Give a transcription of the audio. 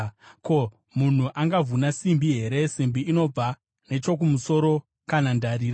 “Ko, munhu angavhuna simbi here, simbi inobva nechokumusoro, kana ndarira?